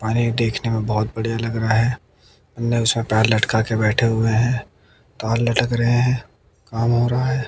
और ये देखने में बहुत बढ़िया लग रहा है अंदर उसमें पैर लटका के बैठे हुए हैं तो और लटक रहे हैं काम हो रहा है।